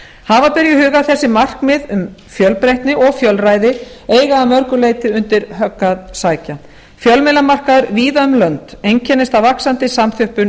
hafa ber í hug að þessi markmið um fjölbreytni og fjölræði eiga að mörgu leyti undir högg að sækja fjölmiðlamarkaður víða um lönd einkennist af vaxandi samþjöppun